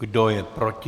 Kdo je proti?